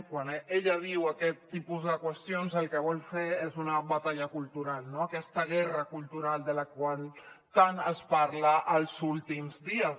quan ella diu aquest tipus de qüestions el que vol fer és una batalla cultural no aquesta guerra cultural de la qual tant es parla els últims dies